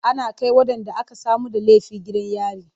Ana kai waɗanda aka samu da laifi gidan yari.